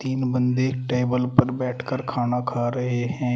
तीन बंदे टेबल पर बैठकर खाना खा रहे हैं।